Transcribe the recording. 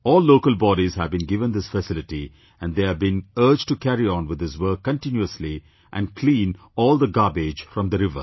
All local bodies have been given this facility and they have been urged to carry on with this work continuously and clean all the garbage from the river